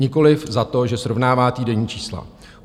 Nikoliv za to, že srovnává týdenní čísla.